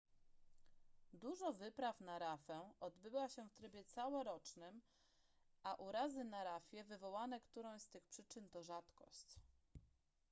dużo wypraw na rafę odbywa się w trybie całorocznym a urazy na rafie wywołane którąś z tych przyczyn to rzadkość